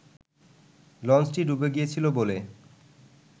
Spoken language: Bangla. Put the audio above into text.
লঞ্চটি ডুবে গিয়েছিল বলে